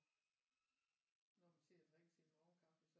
Når man sidder og drikker sin morgenkaffe så